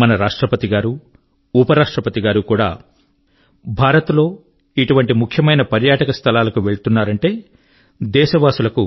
మన రాష్ట్రపతి గారు ఉప రాష్ట్రపతి గారు కూడా భారత లో ఇటువంటి ముఖ్యమైన పర్యాటక స్థలాల కు వెళ్తున్నారంటే దేశవాసుల కు